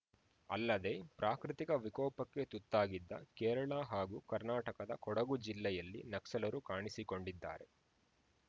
ಅಲ್ಲದೆ ಪ್ರಾಕೃತಿಕ ವಿಕೋಪಕ್ಕೆ ತುತ್ತಾಗಿದ್ದ ಕೇರಳ ಹಾಗೂ ಕರ್ನಾಟಕದ ಕೊಡಗು ಜಿಲ್ಲೆಯಲ್ಲಿ ನಕ್ಸಲರು ಕಾಣಿಸಿಕೊಂಡಿದ್ದಾರೆ